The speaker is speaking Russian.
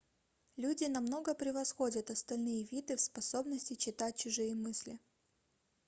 люди намного превосходят остальные виды в способности читать чужие мысли